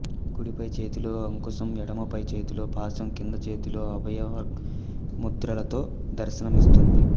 కుడిపై చేతిలో అంకుశం ఎడమ పై చేతిలో పాశం కింది చేతులలో అభయ వరముద్రలతో దర్శనమిస్తుంది